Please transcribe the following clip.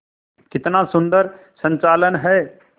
कितना सुंदर संचालन है